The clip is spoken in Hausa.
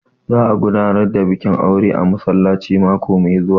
Za a gudanar da bikin aure a masallaci mako mai zuwa